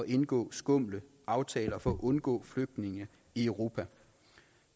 indgå skumle aftaler for at undgå flygtninge i europa